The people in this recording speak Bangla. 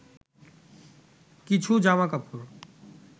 কিছু জামাকাপড়